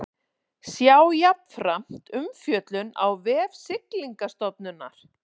Sjá jafnframt umfjöllun á vef Siglingastofnunar